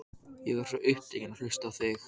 Ég var svo upptekinn af að hlusta á þig.